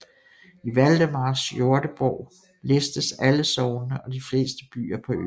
I Valdemars Jordebog listes alle sognene og de fleste byer på øen